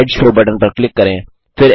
slide show button पर click करें